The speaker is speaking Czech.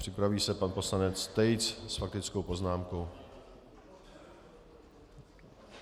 Připraví se pan poslanec Tejc s faktickou poznámkou.